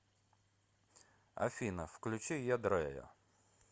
афина включи ядрэя